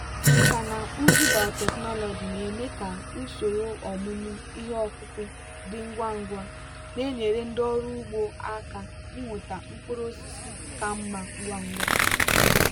nkà na ụzụ biotechnology na-eme ka usoro ọmụmụ ihe ọkụkụ dị ngwa ngwa na-enyere ndị ọrụ ugbo aka inweta mkpụrụ osisi ka mma ngwa ngwa.